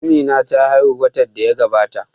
Amina ta haihu watan da ya gabata